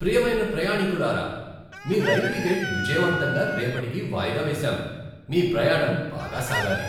ప్రియమైన ప్రయాణీకులారా, మీ రైలు టికెట్ విజయవంతంగా రేపటికి వాయిదా వేశాం. మీ ప్రయాణం బాగా సాగాలి!